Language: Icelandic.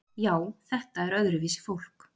Já, þetta er öðruvísi fólk.